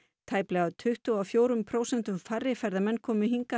tæplega tuttugu og fjórum prósentum færri ferðamenn komu hingað